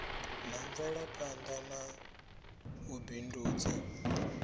na mvelaphana na u bindudza